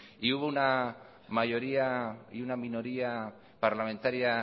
y hubo una mayoría y una minoría parlamentaria